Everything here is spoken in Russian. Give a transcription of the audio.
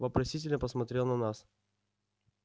вопросительно посмотрел на нас